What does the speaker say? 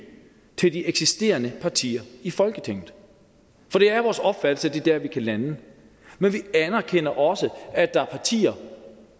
til de eksisterende partier i folketinget for det er vores opfattelse at det er dér vi kan lande men vi anerkender også at der er partier